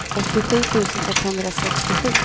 åttiosju tusen etthundrasextiosju